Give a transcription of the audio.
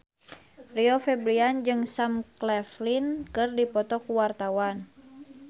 Rio Febrian jeung Sam Claflin keur dipoto ku wartawan